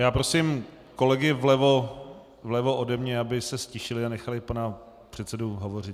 Já prosím kolegy vlevo ode mne, aby se ztišili a nechali pana předsedu hovořit.